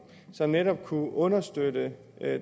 som netop kunne understøtte